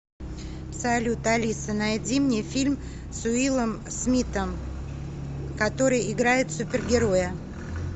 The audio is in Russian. салют алиса найди мне фильм с уиллом смиттом который играет супер героя